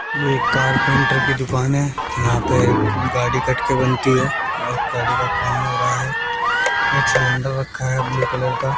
ये एक कारपेंटर की दुकान है यहां पे गाड़ी कट के बनती है और गाड़ी का काम हो रहा है एक सलेंडर रक्खा है ब्लू कलर का।